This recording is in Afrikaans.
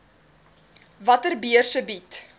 watter beurse bied